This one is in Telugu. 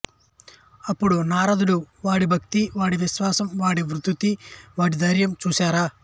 అపుడు నారదుడు వాడి భక్తి వాడి విశ్వాసం వాడి ధృతి వాడి ధైర్యం చూశారా